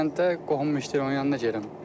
Xankəndə qohumum işləyir, onun yanına gedirəm.